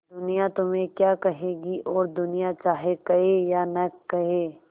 दुनिया तुम्हें क्या कहेगी और दुनिया चाहे कहे या न कहे